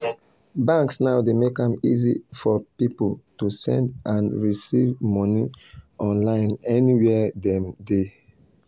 banks now dey make am easy for people to send and receive money online anywhere dem they.